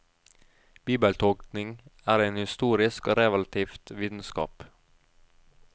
Bibeltolkning er en historisk og relativ vitenskap.